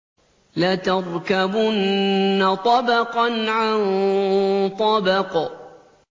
لَتَرْكَبُنَّ طَبَقًا عَن طَبَقٍ